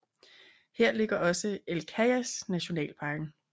Her ligger også El Cajas nationalparken